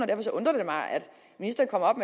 derfor undrer det mig at ministeren kommer